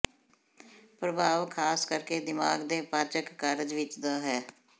ਪ੍ਰਭਾਵ ਖਾਸ ਕਰਕੇ ਦਿਮਾਗ ਦੇ ਪਾਚਕ ਕਾਰਜ ਵਿੱਚ ਦਾ ਹੈ